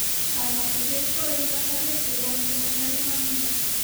Kaany'ayseet ko eng' kasarwek chechang' ko ma nyaluunot nia.